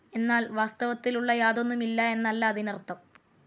എന്നാൽ വാസ്തവത്തിലുളള യാതൊന്നുമില്ല എന്നല്ല അതിനർത്ഥം.